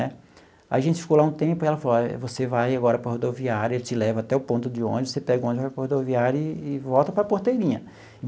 Né aí a gente ficou lá um tempo, e ela falou, você vai agora para a rodoviária, ele te leva até o ponto de ônibus, você pega o ônibus, vai para a rodoviária e e volta para Porteirinha.